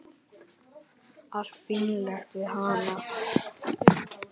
Allt fínlegt við hana.